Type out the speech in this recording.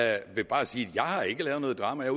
jeg vil bare sige jeg har ikke lavet noget drama jeg